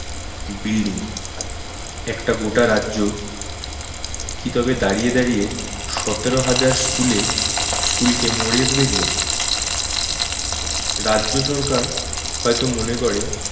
building একটা গোটা রাজ্য কি তবে দাঁড়িয়ে দাঁড়িয়ে সতেরো হাজার school এ school কে মরে যেতে দেখবে? রাজ্য সরকার হয়ত মনে করে